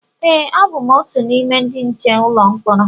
e, abụ m otu n’ime ndị nche ụlọ mkpọrọ